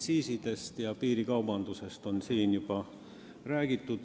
Aktsiisidest ja piirikaubandusest on siin juba räägitud.